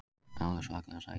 Alveg svakalega sæt.